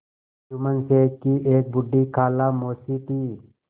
जुम्मन शेख की एक बूढ़ी खाला मौसी थी